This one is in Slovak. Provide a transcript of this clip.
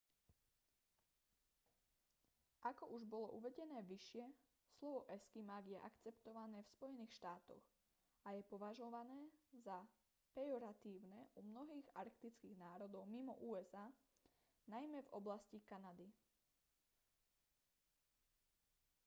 ako už bolo uvedené vyššie slovo eskimák je akceptované v spojených štátoch a je považované za pejoratívne u mnohých arktických národov mimo usa najmä v oblasti kanady